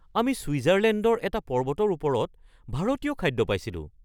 আমি ছুইজাৰলেণ্ডৰ এটা পৰ্বতৰ ওপৰত ভাৰতীয় খাদ্য পাইছিলোঁ